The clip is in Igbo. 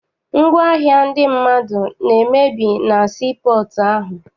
Ngwaahịa ndị mmadụ na-emebi na sii pọọtụ ahụ.